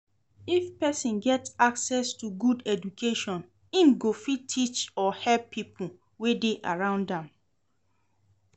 If persin get accesss to good education im go fit teach or help pipo wey de around am